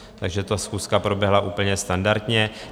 Takže ta schůzka proběhla úplně standardně.